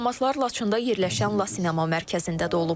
Diplomatlar Laçında yerləşən LaCinema mərkəzində də olublar.